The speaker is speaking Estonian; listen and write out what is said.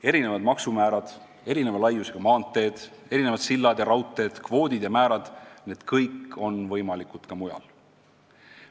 Erinevad maksumäärad, erineva laiusega maanteed, mitmesugused sillad ja raudteed, kvoodid ja määrad – need kõik on võimalikud ka mujal.